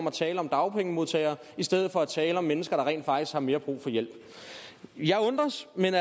at tale om dagpengemodtagere i stedet for at tale om mennesker der rent faktisk har mere brug for hjælp jeg undres men